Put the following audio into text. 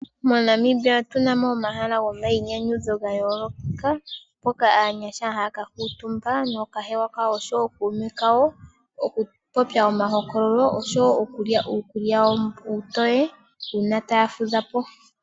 Monamibia otunamo omahala gomayinyanyudho ga yoolokampoka aanyasha haya ka kuutumba nookahewa kawo oshowo ookuume kawo oku popya omahokololo noshowo okulya uukulya uutoye uuna taya fudhapo.